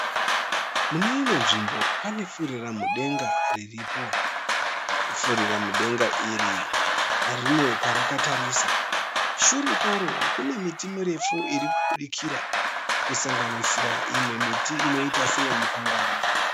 Muneimwe nzvimbo pane furiramudenga iripo, furiramudenga iri rine kwarakatarisa, shure kwaro kune miti mirefu iri kubudikira kusanganisira imwe miti inoita seye mupanga